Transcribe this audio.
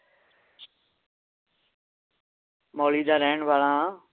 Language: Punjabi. ਮੌਲੀ ਦਾ ਰਹਿਣ ਵਾਲਾ ਹਾਂ